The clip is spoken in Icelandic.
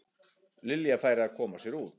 Lilja færi að koma sér út.